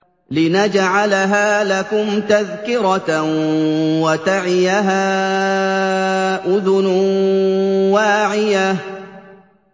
لِنَجْعَلَهَا لَكُمْ تَذْكِرَةً وَتَعِيَهَا أُذُنٌ وَاعِيَةٌ